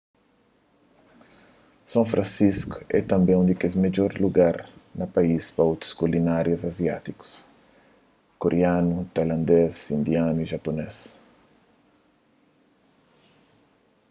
son fransisku é tanbê un di kes midjor lugar na país pa otus kulinária aziátikus kurianu tailandês indianu y japunês